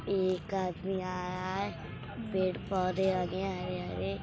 एक आदमी आ रहा है पेड़-पौधे लगे हरे-हरे |